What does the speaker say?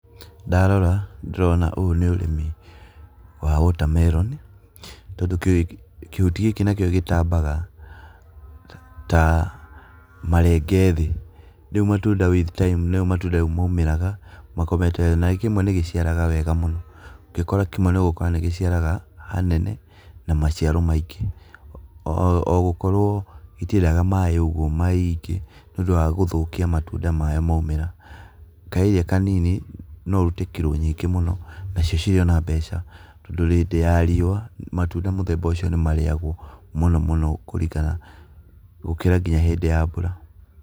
Ndarora ndĩrona ũyũ nĩ ũrĩmi wa water melon tondũ kĩhuti gĩki nakĩo gĩtambaga ta marenge thĩ, rĩu matunda with time nĩguo matunda maumagĩra makomete thĩ. Na kĩmwe nĩ gĩciaraga wega mũno, ũngĩkora kĩmwe nĩ ũgũkora nĩ gĩciaraga hanene na maciaro maingĩ. Ogũkorwo itiendaga maaĩ ũguo maingĩ nĩ ũndũ wa gũthũkia matunda marĩa maumĩra. Kaĩria kanini no ũrute kirũ nyingĩ mũno nacio cirĩ ona mbeca tondũ hĩndĩ ya riũa, matunda mũthemba ũcio nĩ marĩagwo mũno mũno kũringana gũkĩra nginya hĩndĩ ya mbura.